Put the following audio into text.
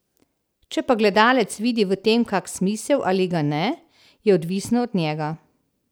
Če pa gledalec vidi v tem kak smisel ali ga ne, je odvisno od njega.